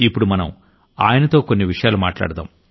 ఇప్పుడు మనం ఆయనతో కొన్ని విషయాలు మాట్లాడదాం